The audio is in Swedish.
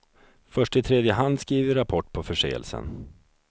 Först i tredje hand skriver vi rapport på förseelsen.